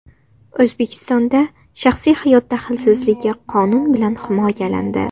O‘zbekistonda shaxsiy hayot daxlsizligi qonun bilan himoyalandi.